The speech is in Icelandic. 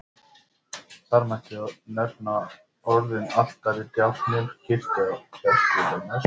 Þar mætti nefna orðin altari, djákni, kirkja, klerkur, messa.